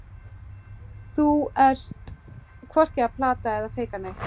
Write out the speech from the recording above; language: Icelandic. Þú ert hvorki að plata eða feika neitt.